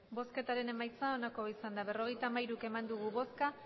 emandako botoak berrogeita hamairu bai